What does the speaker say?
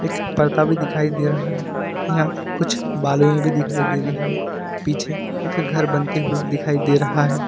एक परदा भी दिखाई दे रहा है यहां कुछ बालूये भी दिखाई दे रही है पीछे एक घर बनते हुए दिखाई दे रहा है।